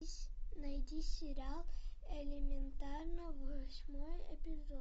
найди сериал элементарно восьмой эпизод